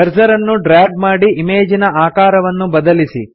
cursor ಅನ್ನು drag ಮಾಡಿ ಇಮೇಜಿನ ಆಕಾರವನ್ನು ಬದಲಿಸಿ